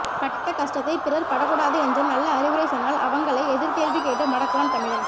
் பட்ட கஷ்டத்தை பிறர் படக்கூடாது என்ற நல்லஅறிவுரை சொன்னால் அவங்களை எதிர் கேள்வி கேட்டு மடக்குவான் தமிழன்